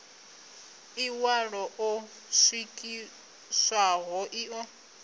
ḽiṋwalo ḽo swikiswaho ḽi ḓo